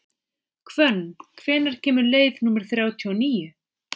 Hvönn, hvenær kemur leið númer þrjátíu og níu?